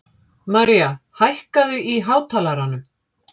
Maria, hækkaðu í hátalaranum.